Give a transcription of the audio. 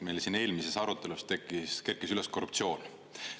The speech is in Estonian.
Meil siin eelmises arutelus kerkis üles korruptsioon.